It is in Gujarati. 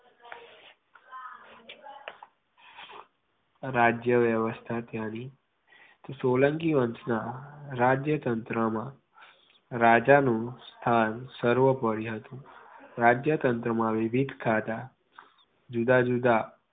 રાજ્ય વ્યવસ્થા તેની સોલંકી વંશ મા રાજ્ય તંત્રમાં રાજાનુ સ્થાન સર્વપરે હતુ રાજય તંત્રમાં જુદા જુદા